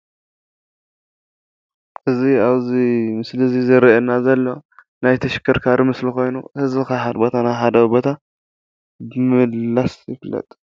እዚ ኣብዚ ምስሊ እዚ ዝረኣየና ዘሎ ናይ ተሽከርካሪ ምስሊ ኮይኑ ህዝቢ ካብ ሓደ ቦታ ናብ ሓደ ቦታ ብምምልላስ ይፍለጥ።